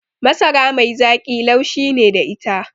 Masara mai zaƙi laushi ne da ita